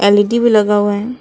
L E D भी लगा हुआ है।